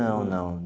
Não, não.